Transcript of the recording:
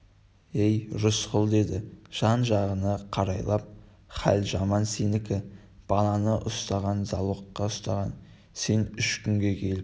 ей рысқұл деді жан-жағына қарайлап хал жаман сенікі баланы ұстаған залогқа ұстаған сен үш күнде келіп